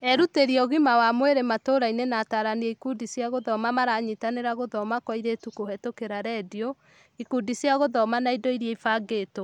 Erutĩri a ũgima wa mwĩrĩ matũrainĩ na atarani a ikundi cia gũthoma maranyitĩrĩra gũthoma kwa airĩtu kũhetũkira rendio, ikundi cia gũthoma na indo iria ibangĩtwo ?